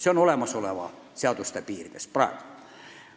See on nii praeguse seaduse järgi.